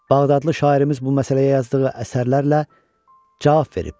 Bağdadlı şairimiz bu məsələyə yazdığı əsərlərlə cavab verib.